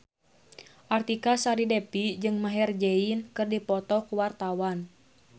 Artika Sari Devi jeung Maher Zein keur dipoto ku wartawan